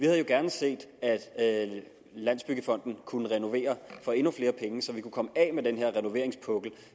havde gerne set at landsbyggefonden kunne renovere for endnu flere penge så vi kunne komme af med den renoveringspukkel